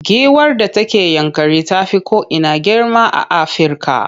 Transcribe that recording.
Giwar da take Yankari ta fi ko ina girma a Afirka.